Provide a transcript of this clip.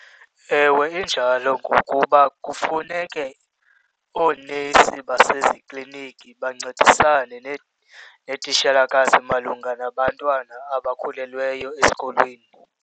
Ewe, injalo ngokuba kufuneke oonesi basezikliniki bancedisane neetitshalakazi malunga nabantwana abakhulelweyo esikolweni.